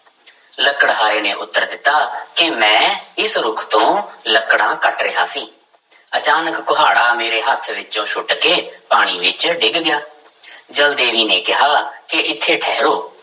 ਲੱਕੜਹਾਰੇ ਨੇ ਉੱਤਰ ਦਿੱਤਾ ਕਿ ਮੈਂ ਇਸ ਰੁੱਖ ਤੋਂ ਲੱਕੜਾਂ ਕੱਟ ਰਿਹਾ ਸੀ ਅਚਾਨਕ ਕੁਹਾੜਾ ਮੇਰੇ ਹੱਥ ਵਿੱਚੋਂ ਸੁੱਟ ਕੇ ਪਾਣੀ ਵਿੱਚ ਡਿੱਗ ਗਿਆ ਜਲ ਦੇਵੀ ਨੇ ਕਿਹਾ ਕਿ ਇੱਥੇ ਠਹਿਰੋ